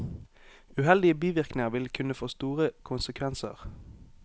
Uheldige bivirkninger vil kunne få store konsekvenser.